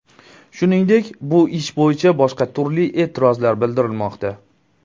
Shuningdek, bu ish bo‘yicha boshqa turli e’tirozlar bildirilmoqda.